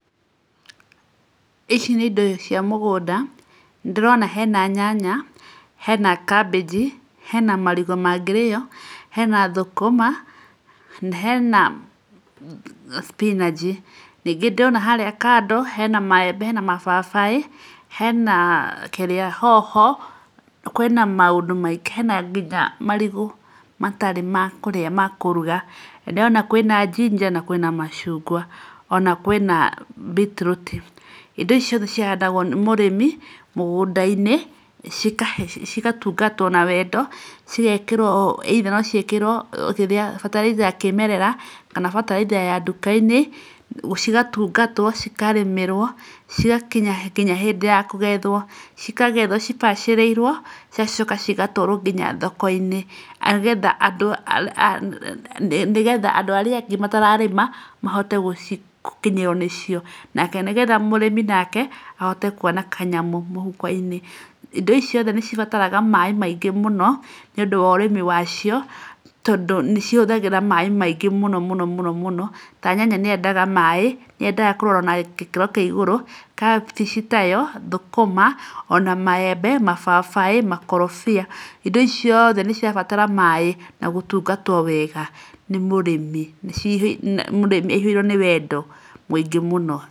Ici nĩ indo cia mũgũnda, nĩ ndĩrona hena nyanya, hena kambĩngi, hena marigũ mangĩrĩo, hena thũkũma, na hena spinach, ningĩ ndĩrona harĩa kando hena maembe hena mababaĩ, hena kĩrĩa, hoho, kwĩna maũndũ maingĩ, hena nginya marigũ, matarĩ na kũrĩa makũruga, ndĩrona kwĩna njinja na kwĩna machungwa, ona kwĩna beetroot, indo ici ciothe cihandagwo nĩ mũrĩmi mũgũnda-inĩ cigatungatwo na wendo, cigekĩrwo either bataraitha ya kĩmerera kana ya duka-inĩ, cigatungatwo, cikarĩmĩrwo, cigakinya nginya hĩndĩ ya kũgethwo, cikagethwo cibacĩrĩirwo, cigacoka, cigatwarwo nginya thoko-inĩ, nĩgetha andũ arĩa angĩ matarĩma mahote gũkinyĩrwo nĩ cio, na nĩgetha mũrĩmi nake ahote kwona kanyamũ mũhuko-inĩ. Indo ici ciothe nĩ cibataraga maĩ maingĩ mũno nĩ ũndũ wa ũrĩmi wacio tondũ nĩ ihũthagĩra maĩ maingĩ mũno, mũno, ta nyanya nĩ yendaga maĩ, nĩ yendaga kũrorwo na gĩkĩro kĩa igũrũ, kabĩci nayo, ona thũkũma, maembe, mababaĩ, makorobia, indo ici ciothe nĩ cirabatara maĩ na gũtungatwo wega nĩ mũrĩmi, aihũirwo nĩ wendo mũingĩ mũno.